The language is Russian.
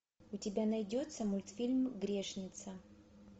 у тебя найдется мультфильм грешница